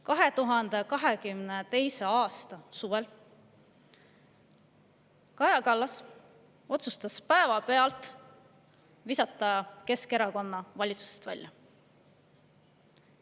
2022. aasta suvel otsustas Kaja Kallas päevapealt visata Keskerakonna valitsusest välja.